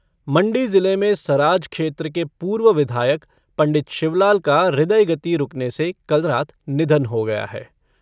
मण्डी ज़िले में सराज क्षेत्र के पूर्व विधायक पंडित शिवलाल का हृदय गति रूकने से कल रात निधन हो गया है।